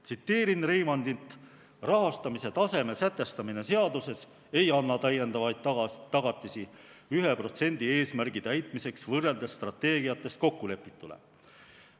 Tsiteerin Reimandit: rahastamise taseme sätestamine seaduses ei anna täiendavaid tagatisi 1% eesmärgi täitmiseks, võrreldes strateegiates kokkulepituga.